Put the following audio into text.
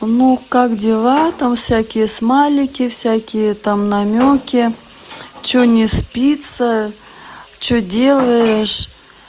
ну как дела там всякие смайлики всякие там намёки чего не спится что делаешь